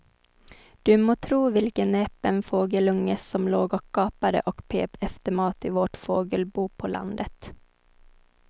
Du må tro vilken näpen fågelunge som låg och gapade och pep efter mat i vårt fågelbo på landet.